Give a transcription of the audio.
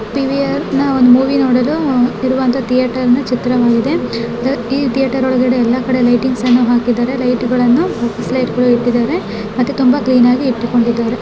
PVR ಇದೊಂದು movie ನೋಡಲ್ಲಿ ಇರುವಂತ ಒಂದು ಥೇಟರ್ ಚಿತ್ರವಾಗಿದೆ ಈಥೇಟರ್ ಒಳಗಡೆ ಎಲ್ಲಾ ಕಡೆ ಲೈಟಿಂಗ್ಸ್ ಅನ್ನು ಹಾಕಿದ್ದಾರೆ ಮತ್ತೆ ತುಂಬಾ ಕ್ಲೀನಾಗಿ ಇಟ್ಟುಕೊಂಡಿದ್ದಾರೆ.